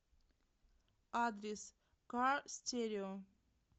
адрес кар стерео